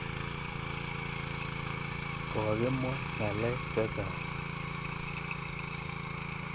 Kokimwa ng'alek che chang'.